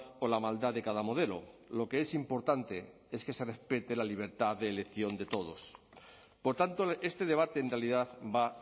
o la maldad de cada modelo lo que es importante es que se respete la libertad de elección de todos por tanto este debate en realidad va